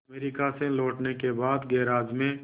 America से लौटने के बाद गैराज में